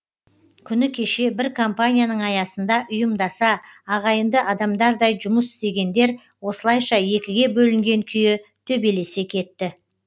күні кеше бір компанияның аясында ұйымдаса ағайынды адамдардай жұмыс істегендер осылайша екіге бөлінген күйі төбелесе кетті